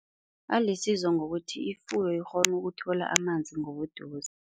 Alisizo ngokuthi ifuyo ikghona ukuthola amanzi ngobuduze.